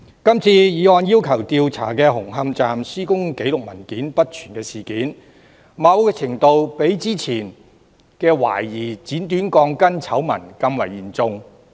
今次議案要求調查紅磡站施工紀錄文件不全的事件，某程度上較之前懷疑剪短鋼筋的醜聞更為嚴重。